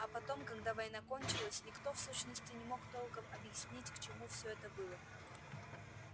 а потом когда война кончилась никто в сущности не мог толком объяснить к чему все это было